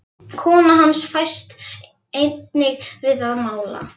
Kona hans fæst einnig við að mála.